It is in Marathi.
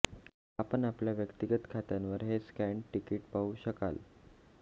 आपण आपल्या व्यक्तीगत खात्यावर हे स्कॅन्ड तिकीट पाहू शकाल